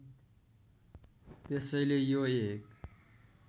त्यसैले यो एक